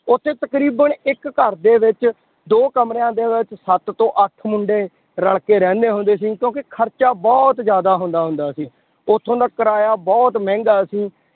ਉੱਥੇ ਤਕਰੀਬਨ ਇੱਕ ਘਰਦੇ ਵਿੱਚ ਦੋ ਕਮਰਿਆਂ ਦੇ ਵਿੱਚ ਸੱਤ ਤੋਂ ਅੱਠ ਮੁੰਡੇ ਰਲ ਕੇ ਰਹਿੰਦੇ ਹੁੰਦੇ ਸੀ ਕਿਉਂਕਿ ਖਰਚਾ ਬਹੁਤ ਜ਼ਿਆਦਾ ਹੁੰਦਾ ਹੁੰਦਾ ਸੀ, ਉੱਥੋਂ ਦਾ ਕਿਰਾਇਆ ਬਹੁਤ ਮਹਿੰਗਾ ਸੀ